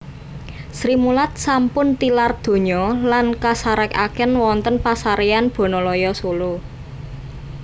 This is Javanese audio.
Srimulat sampun tilar donya lan kasarekaken wonten pasarean Bonoloyo Solo